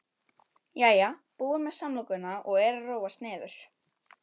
Jæja, búin með samlokuna og er að róast niður.